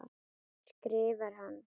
skrifar hann.